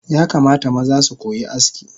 Yakamata maza sukoyi aski